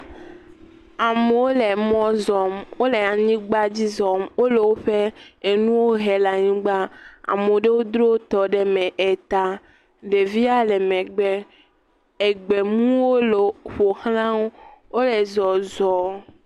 Amewo le mɔ zɔm. Wo le anyigba dzi zɔm. Wo le woƒe enuwo hem le anyigba ame aɖewo dro wotɔ ɖe me eta. Ɖevia le megbe. Egbemuwo le ƒoxlawo wo le zɔzɔm.